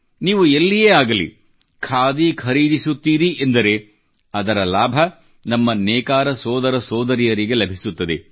ನೀವು ಎಲ್ಲಿಯೇ ಆಗಲಿ ಖಾದಿ ಖರೀದಿಸುತ್ತೀರಿ ಎಂದರೆ ಅದರ ಲಾಭ ನಮ್ಮ ನೇಕಾರ ಸೋದರ ಸೋದರಿಯರಿಗೆ ಲಭಿಸುತ್ತದೆ